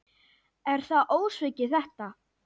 Er það ósvikið þetta?